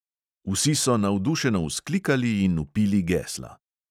Vsi so navdušeno vzklikali in vpili gesla.